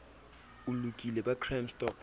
o lokile ba crime stop